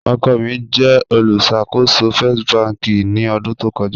Ọkọ mi jẹ olùṣakòsò First bankì ni ọdun tó kọja